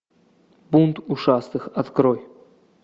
бунт ушастых открой